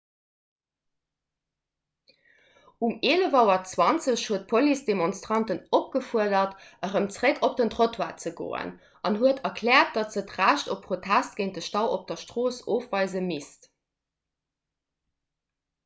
um 11.20 auer huet d'police d'demonstranten opgefuerdert erëm zeréck op den trottoir ze goen an huet erkläert datt se d'recht op protest géint de stau op der strooss ofweise misst